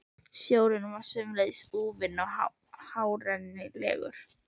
Sjórinn var sömuleiðis úfinn og óárennilegur.